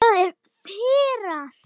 Það er firra.